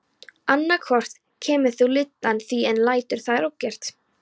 Annað hvort kemur þú lyddan þín eða lætur það ógert.